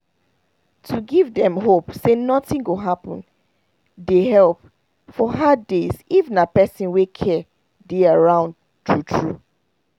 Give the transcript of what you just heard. to give dem hope say nothing go happen dey help for hard days if na person wey care dey around true true